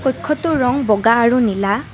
কক্ষটোৰ ৰং বগা আৰু নীলা।